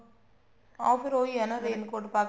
ਹਾਂ ਫੇਰ ਉਹੀ ਹੈ ਨਾ raincoat ਪਾ ਕੇ